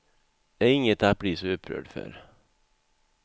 Det är inget att bli så upprörd för.